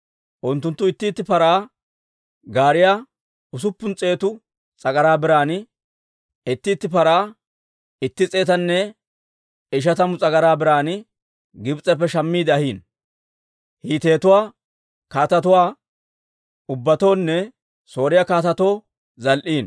Unttunttu itti itti paraa gaariyaa usuppun s'eetu s'agaraa biran, itti itti paraa itti s'eetanne ishatamu s'agaraa biran Gibs'eppe shammiide ahiino; Hiitetuwaa kaatetuwaa ubbatoonne Sooriyaa kaatetoo zal"iino.